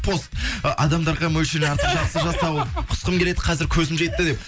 пост ы адамдарға мөлшерінен артық жақсылық жасау құсқым келеді қазір көзім жетті деп